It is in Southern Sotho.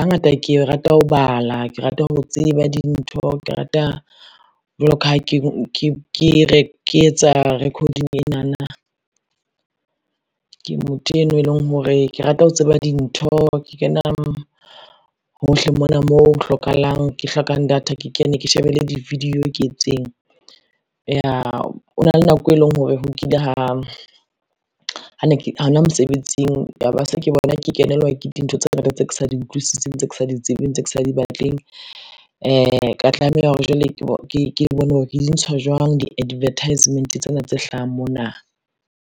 Hangata ke rata ho bala, ke rata ho tseba dintho, ke rata jwalo ka ha ke etsa record-ing enana, ke motho eno e leng hore ke rata ho tseba dintho, ke kena hohle mona moo hlokahalang, ke hlokang data ke kene ke shebelle di-video ke etseng. Ho na le nako eleng hore ho kile ha hona mosebetsing ya be se ke bona ke kenelwa ke dintho tse ngata tse ke sa di utlwisising, tse ke sa di tsebeng, tse ke sa di batleng. Ka tlameha hore jwale ke bone hore ke di ntsha jwang di-advertisement tsena tse hlahang mona.